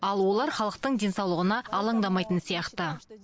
ал олар халықтың денсаулығына алаңдамайтын сияқты